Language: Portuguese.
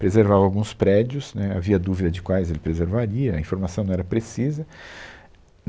preservava alguns prédios, né, havia dúvida de quais ele preservaria, a informação não era precisa.